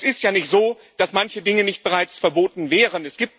Und es ist ja nicht so, dass manche Dinge nicht bereits verboten wären.